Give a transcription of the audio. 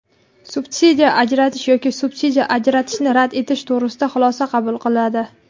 subsidiya ajratish yoki subsidiya ajratishni rad etish to‘g‘risida xulosa qabul qiladi.